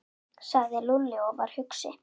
sagði Lúlli og var hugsi.